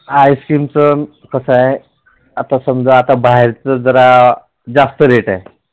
Ice cream च कसं आहे आता समजा आता बाहेरच जरा जास्त Rate आहे.